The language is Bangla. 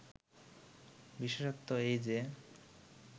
বিশেষত্ব এই যে